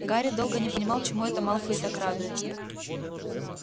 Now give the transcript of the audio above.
гарри долго не понимал чему это малфей так радуется